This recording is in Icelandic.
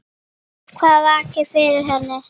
Hvað vakir fyrir henni?